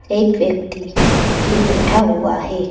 एक व्यक्ति भी बैठा हुआ है।